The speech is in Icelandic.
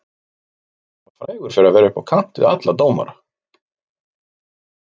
Hann var frægur fyrir að vera upp á kant við alla dómara.